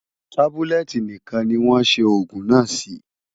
Tábúlẹ̀tì nìkan ni wọ́n ṣe òògùn náà sí.